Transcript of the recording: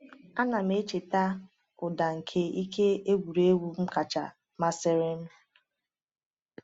A na m echeta ụda nke ihe egwuregwu m kacha masịrị m.